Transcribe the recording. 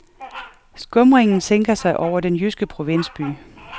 Skumringen sænker sig over den jyske provinsby.